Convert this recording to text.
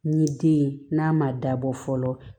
N ye den ye n'a ma dabɔ fɔlɔ